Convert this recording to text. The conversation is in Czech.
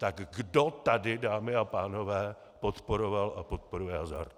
Tak kdo tady, dámy a pánové, podporoval a podporuje hazard?